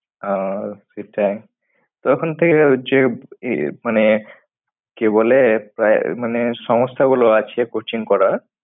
ওহ সেটাই তখন থেকে যে ই~ মানে কি বলে প্রায়~মানে সংস্থা গুলো আছে coaching করার